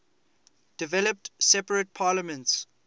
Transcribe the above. developed separate parliaments